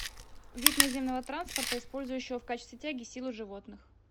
вид наземного транспорта использующего в качестве тяги силу животных